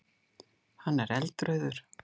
Hann er eldrauður.